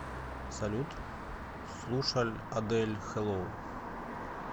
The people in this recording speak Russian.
салют слушаль адель хэллоу